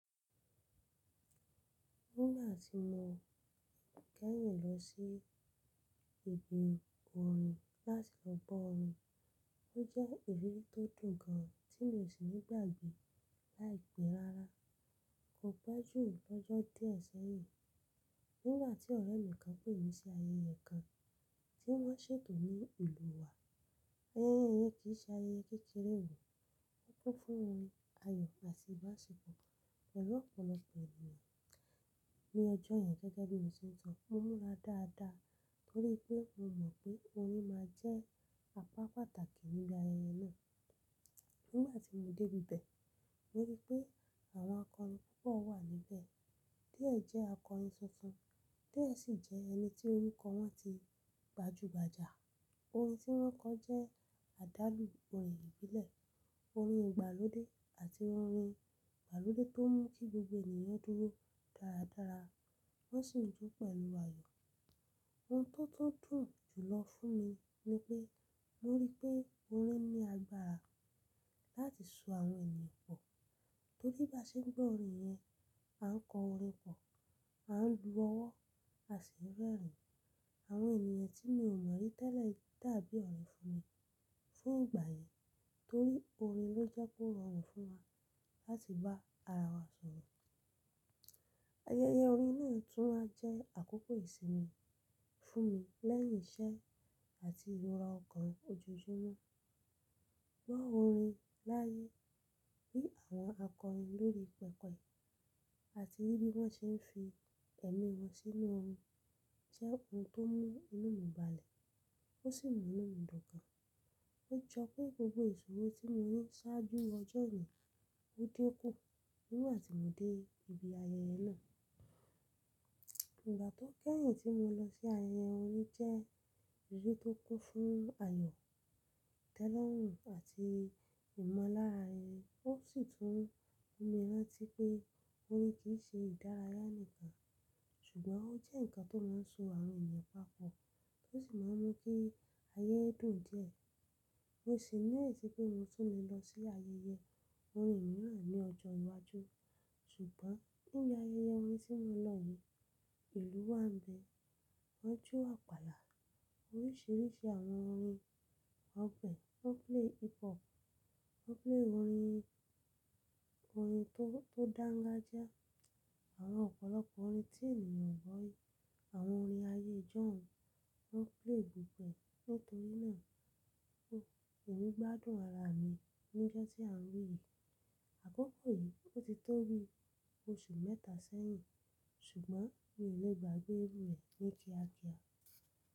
Nígbà tí mo kẹ́yìn lọ sí ibi orin láti gbọ́ orin, ó jẹ́ ìrírí tó dùn gan tí mi ò sì ní gbàgbé láìpé rárá. Kò pẹ júm lọ́jọ́ díẹ̀ sẹ́yìn, nígbà tí ọ̀rẹ́ mi kan pè mí sí ayẹyẹ kan tí wọ́n ṣètò ní ìlú wa. Ayẹyẹ yén kì í ṣe ayẹyẹ kékeré ò, ó kún fún orin ayọ̀ àti ìbáṣepọ̀ pẹ̀lú ọ̀pọ̀lọpọ̀ ènìyàn. Ni ọjọ́ yẹn gẹ́gẹ́ bí mo ṣe ń sọ, mo múra dáadáa torí pé mo mọ̀ pé orin máa jẹ́ apá pàtàkì níbi ayẹyẹ náà. Nígbà tí mo dé ibẹ̀, mo rí pé àwọn akọrin púpọ̀ wà níbẹ̀, díẹ̀ jẹ́ akọrin tuntun, díẹ̀ sì jẹ́ ẹni tí orúkọ wọn ti gbajúgbajà. Orin tí wọ́n kọ jẹ́ àdálù orin ìbílẹ̀, orin ìgbàlódé àti orin ìgbàlódé tó mú kí gbogbo ènìyàn dúró dáradára wọ́n sì jó pẹ̀lú ayọ̀. Ohun tó tó dùn jùlọ fún mi ni pé mo rí pé orin ní agbára láti so àwọn ènìyàn pọ̀ torí bá ṣe ń gbọ́ orin yẹn, a ń kọ orin pọ̀, a ń lu ọwọ́ à si n rẹ́rìn-ín àwọn ènìyàn tí mi ò mọ̀ rí tẹ́lẹ̀ tàbí ọ̀rẹ́ fún mi fún ìgbà yẹn torí orin ló jẹ́ kó rọrùn fún wa láti bá ara wa sọ̀rọ̀. Ayẹyẹ orin náà tún máa jẹ́ àkókò ìsinmi fún mi lẹ́yìn iṣẹ́ àti ìrọ̀ra ọkọ́ọ̀ ojojúmọ́. Gbọ́ orin láyé, rí àwọn akọrin lórí pẹpẹ àti rí bí wọ́n ṣe ń fi ẹ̀mí wọn sínú orin jẹ́ ohun tó mú inú mi balẹ̀ ó sì mú inú mi dùn gan. Ó jọ pé gbogbo ìṣòro tí mo rí ṣáájú ọjọ́ yẹn ó dikù nígbà tí mo dé ibi ayẹyẹ náà. Ìgbà tó kẹ́yìn tí mo lọ sí ayẹyẹ orin jẹ́ ìrírí tó kún fún ayọ̀, tẹ́lọ̀rùn àti ìmọ̀lára ẹni, ó sì tún mú mi rántí pé orin kì í ṣe ìdárayá nìkan ṣùgbọ́n ó jẹ́ ǹkan tó máa ń so àwọn ènìyàn papọ̀ tó sì máa ń mú kí ayẹyẹ dùn díẹ̀. Mo sì ní ìlérí pé mo tún lè lọ sí ayẹyẹ orin mìíràn ní ọjọ́ iwájú. Ṣùgbọ́n níbi ayẹyẹ orin tí mo lọ wò, ìlú wa ń bẹ, wọ́n jó àpàlà, oríṣìíríṣìí àwọn orin, ọgbẹ́, wọ́n ń plẹ́ hip hop, wọ́n ń plẹ́ orin, orin tó dáńgájiá, àwọn ọ̀pọ̀lọpọ̀ orin tí ènìyàn o gbọ́ rí, àwọn orin ayé ìjọ̀hún, wọ́n ń plẹ́ gbogboẹ. Nítorí náà, òwe gbádùn ara mi nígbà tí à ń rí i. Àkókò yìí ó ti tó bí oṣù mẹ́ta sẹ́yìn ṣùgbọ́n mi ò lè gbàgbé irú rẹ̀ ní kíákíá.